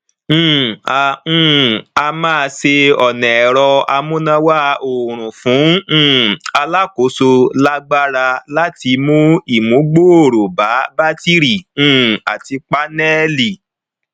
um a um a máa ṣe ọnà ẹrọ amúnáwá oòrùn fún um alákòóso lágbára láti mú ìmúgbòòrò bá bátírì um àti pánẹlì